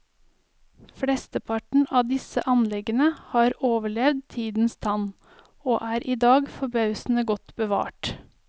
Flesteparten av disse anleggene har overlevd tidens tann, og er i dag forbausende godt bevart.